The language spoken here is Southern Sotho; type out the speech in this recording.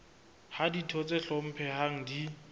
ha ditho tse hlomphehang di